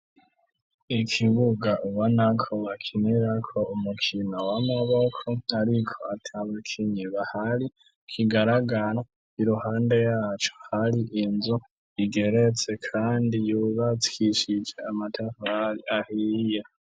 Ikibuga ubonako bakinirako umukino w'amaboko ariko atabakinyi bahari, kigaragara, iruhande yaco hari inzu igeretse kandi yubakishije amatafari ahiye.